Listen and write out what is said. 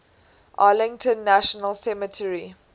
arlington national cemetery